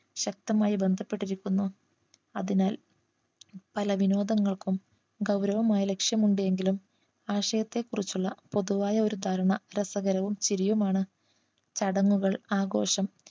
ശക്തമായി ബന്ധപ്പെട്ടിരിക്കുന്നു അതിനാൽ പല വിനോദങ്ങൾക്കും ഗൗരവമായ ലക്ഷ്യം ഉണ്ട് എങ്കിലും ആശയത്തെ കുറിച്ചുള്ള പൊതുവായ ഒരു ധാരണ രസകരവും ചിരിയും ആണ് ചടങ്ങുകൾ ആഘോഷം